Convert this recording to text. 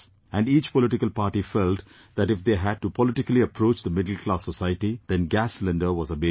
And each political party felt that if they had to politically approach the middle class society, then gas cylinder was a major issue